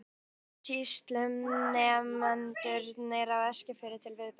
Þess vegna töldust sýslunefndarfundirnir á Eskifirði til viðburða.